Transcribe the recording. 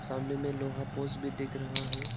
सामने में लोहा पोस्ट भी दिख रहा है।